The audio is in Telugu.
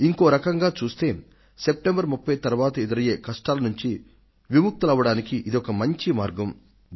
ఇంకో రకంగా చూస్తే సెప్టెంబర్ 30 తరువాత ఎదురయ్యే కష్టాల నుండి విముక్తులవ్వడానికి ఇది ఒక మంచి మార్గం